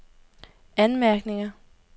anmærkninger